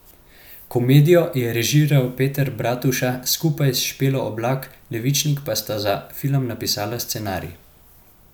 Komedijo je režiral Peter Bratuša, skupaj s Špelo Oblak Levičnik pa sta za film napisala scenarij.